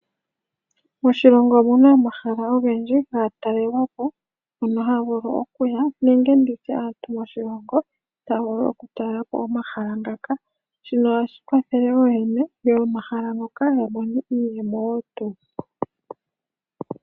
Moshilongo omuna omahala Ogendji ga taalelwa po mono haya vulu okuya nenge nditye aantu moshilongo haya vulu oku talela po omahala ngaka, shino ohashi vulu okukwathela ooyene yomahala ngaka ya mone iiyemo wo tuu.